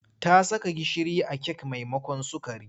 Ta saka gishiri a kek maimakon sukari.